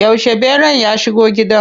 Yauce ɓeran ya shigo gida?